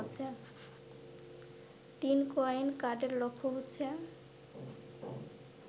৩. Coin কার্ডের লক্ষ্য হচ্ছে